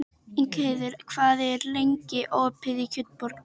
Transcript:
Ingheiður, hvað er lengi opið í Kjötborg?